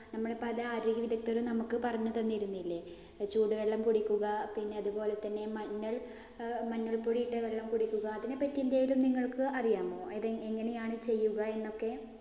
നമ്മുടെ പല ആരോഗ്യ വിദഗ്ധരും നമുക്ക് പറഞ്ഞു തന്നിരുന്നില്ലേ. ചൂടുവെള്ളം കുടിക്കുക പിന്നെ അതുപോലെതന്നെ മഞ്ഞ അഹ് മഞ്ഞൾപ്പൊടി ഇട്ട വെള്ളം കുടിക്കുക. അതിനെ പറ്റി എന്തേലും നിങ്ങള്‍ക്ക് അറിയാമോ? അത് എങ്ങനെയാണ് ചെയ്യുക എന്നൊക്കെ?